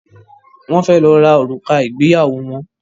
Wón fè ló rà òrùka Igbeyawo wón